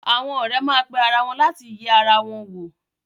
Àwọn ọ̀rẹ́ má pe ara wọn láti yẹ ara wọn wò.